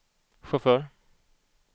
chaufför